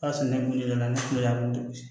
O y'a sɔrɔ ne kun jɔlen don ne kun y'a don